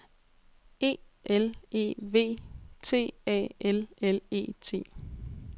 E L E V T A L L E T